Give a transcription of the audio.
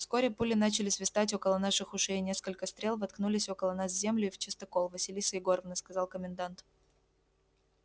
вскоре пули начали свистать около наших ушей и несколько стрел воткнулись около нас в землю и в частокол василиса егоровна сказал комендант